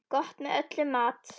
Gott með öllum mat.